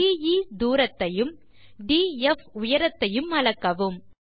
DE தூரத்தையும் DF உயரத்தையும் அளக்கவும்